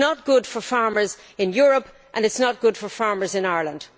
It is not good for farmers in Europe and it is not good for farmers in Ireland.